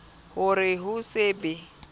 ho re ho se be